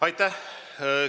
Aitäh!